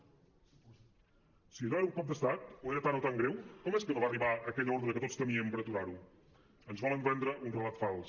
si allò era un cop d’estat o era tan i tan greu com és que no va arribar aquella ordre que tots temíem per aturar ho ens volen vendre un relat fals